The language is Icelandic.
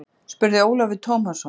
spurði Ólafur Tómasson.